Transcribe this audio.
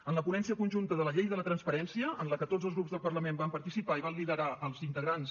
en la ponència conjunta de la llei de la transparència en què tots els grups del parlament van participar i van liderar els integrants